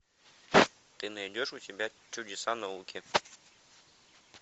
ты найдешь у себя чудеса науки